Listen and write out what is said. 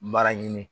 Mara ɲini